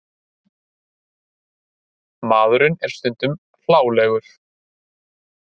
Maðurinn er stundum hlálegur.